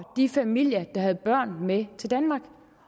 de familier der havde børn med til danmark